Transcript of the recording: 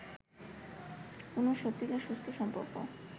কোনও সত্যিকার সুস্থ সম্পর্ক